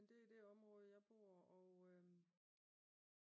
Men det er det område jeg bor